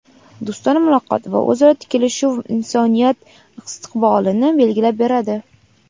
do‘stona muloqot va o‘zaro kelishuv insoniyat istiqbolini belgilab beradi.